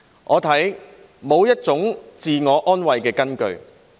我看沒有這種自我安慰的根據。